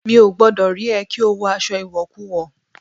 Mi ò gbọ́dọ̀ rí ẹ kí o wọ aṣọ ìwọ̀kuwọ̀!